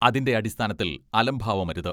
അതിന്റെ അടിസ്ഥാനത്തിൽ അലംഭാവമരുത്.